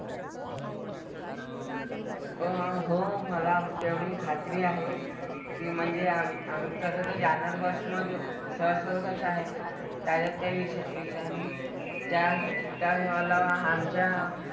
अह हो मला तेवढी खात्री आहे की म्हणजे आम आम्ही तसं तर जाणार bus मधेच sir सोबतच आहे. त्याच्यात काही विषय विषय नाही. त्या त्या आमच्या,